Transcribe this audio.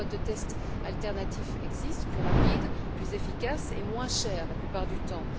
Des méthodes de tests alternatifs existent, plus rapides, plus efficaces et moins chères, la plupart du temps.